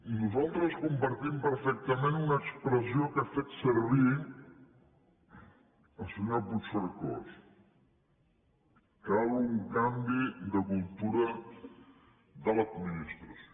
nosaltres compartim perfectament una expressió que ha fet servir el senyor puigcercós cal un canvi de cultura de l’administració